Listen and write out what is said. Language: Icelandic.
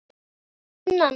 Elsku Nanna.